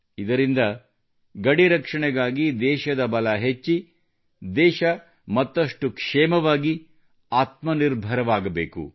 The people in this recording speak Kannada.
ಇದರಿಂದ ಗಡಿ ರಕ್ಷಣೆಗಾಗಿ ದೇಶದ ಬಲ ಹೆಚ್ಚಿ ದೇಶವು ಮತ್ತಷ್ಟು ಕ್ಷೇಮವಾಗಿ ಆತ್ಮನಿರ್ಭರವಾಗಬೇಕು